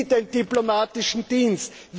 Wie den diplomatischen Dienst?